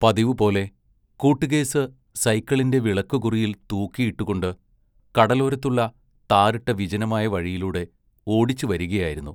പതിവുപോലെ കൂട്ട്കേസ് സൈക്കിളിന്റെ വിളക്കുകുറിയിൽ തൂക്കിയിട്ടു കൊണ്ട് കടലോരത്തുള്ള താറിട്ട വിജനമായ വഴിയിലൂടെ ഓടിച്ചുവരികയായിരുന്നു.